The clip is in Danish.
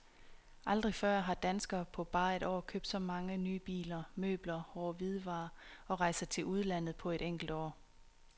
Aldrig før har danskerne på bare et år købt så mange nye biler, møbler, hårde hvidevarer og rejser til udlandet på et enkelt år.